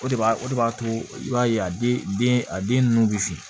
O de b'a o de b'a to i b'a ye a den den a den ninnu bɛ fin